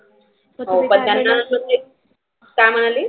हो पण त्याला ते काय म्हणाली?